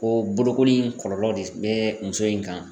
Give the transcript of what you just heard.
Ko bolokoli in kɔlɔlɔ de be muso in kan